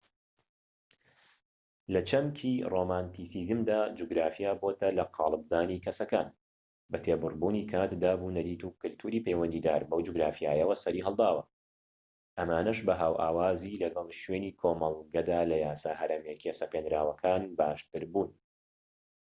لە چەمکی رۆمانتیسیزمدا جوگرافیا بۆتە لەقاڵبدانی کەسەکان بە تێپەڕبوونی کات دابونەریت و کەلتوری پەیوەندیدار بەو جوگرافیایەوە سەری هەڵداوە ئەمانەش بە هاوئاوازی لەگەڵ شوێنی کۆمەڵگەدا لە یاسا هەرەمەکیە سەپێنراوەکان باشتربوون